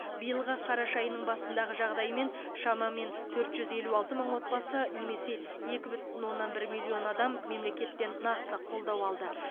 биылғы қараша айының басындағы жағдаймен шамамен төрт жүз елу алты мың отбасы немесе екі бүтін оннан бір миллион адам мемлекеттен нақты қолдау алды